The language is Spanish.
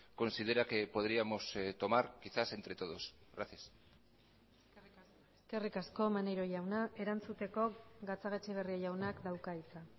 considera que podríamos tomar quizás entre todos gracias eskerrik asko maneiro jauna erantzuteko gatzagaetxebarria jaunak dauka hitza